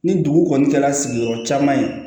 Ni dugu kɔni kɛra sigiyɔrɔ caman ye